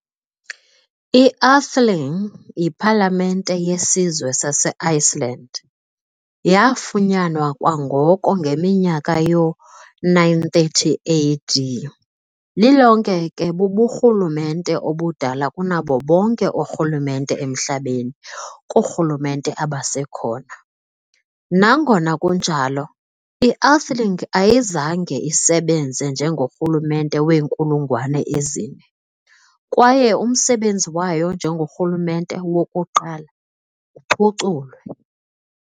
I-Althing, yipalamente yesizwe saseiceland, yaafunyanwa kwangoko ngeminyaka yoo-930 AD, lilonke ke buburhulumente obudala kunabo bonke oorhulumente emhlabeni koorhulumente abasekhona. Nangona kunjalo, i-Althing ayizange isebenze njengorhulumente weenkulungwane ezine, kwaye umsebenzi wayo njengorhulumente "wokuqala" uphuculwe.